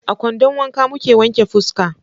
a kwandon wanka muke wanke fuska.